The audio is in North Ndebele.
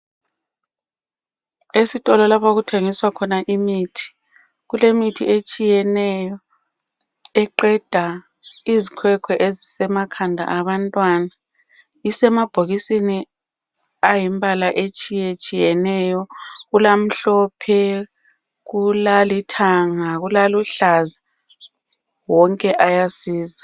Esitolo lapho okuthengiswa khona imithi kulemithi etshiyeneyo eqeda izikhwekhwe ezisemakhanda abantwana isemabhokisini ayimbala etshiyetshiyeneyo kulamhlophe ,kulalithanga kulaluhlaza wonke ayasiza.